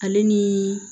Ale ni